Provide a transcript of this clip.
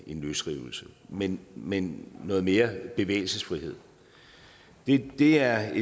en løsrivelse men men noget mere bevægelsesfrihed det er